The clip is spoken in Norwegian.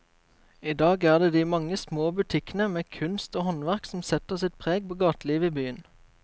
I dag er det de mange små butikkene med kunst og håndverk som setter sitt preg på gatelivet i byen.